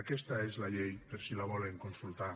aquesta és la llei per si la volen consultar